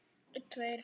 Þú heyrir svar.